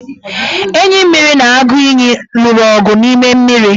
Enyimmiri na aguiyi lụrụ ọgụ n' ime mmiri.